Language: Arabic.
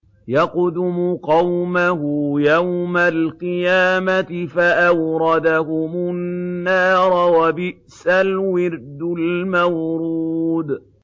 يَقْدُمُ قَوْمَهُ يَوْمَ الْقِيَامَةِ فَأَوْرَدَهُمُ النَّارَ ۖ وَبِئْسَ الْوِرْدُ الْمَوْرُودُ